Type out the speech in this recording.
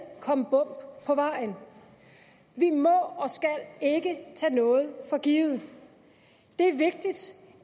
komme bump på vejen vi må og skal ikke tage noget for givet det